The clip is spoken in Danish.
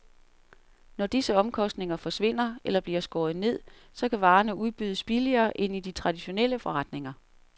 Når disse omkostninger forsvinder eller bliver skåret ned, så kan varerne udbydes billigere end i de traditionelle forretninger.